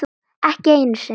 Ekki einu sinni